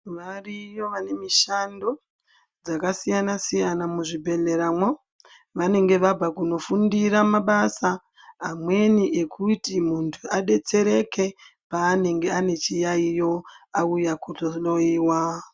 Variyo vanemushando dzakasiyana siyana muzvibhehleramwo vanenge vabva kunofundira mabasa amweni ekuti muntu adetsereke panenge anechiyayiyo auya kuzohloyiwa.